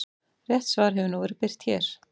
Rétt svar hefur nú verið birt hér.